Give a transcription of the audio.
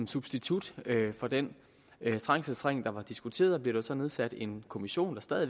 substitut for den trængselsring der var diskuteret bliver der så nedsat en kommission